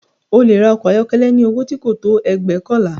O lè ra ọkọ̀ ayọ́kọ́lẹ́ ní owó tí kò tó ẹgbóokànlá